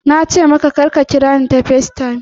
Na ce maka kar ka kira ni ta FaceTime!